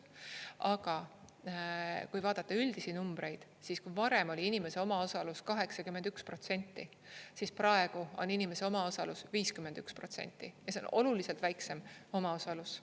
Aga kui vaadata üldisi numbreid, siis kui varem oli inimese omaosalus 81%, siis praegu on inimese omaosalus 51% ja see on oluliselt väiksem omaosalus.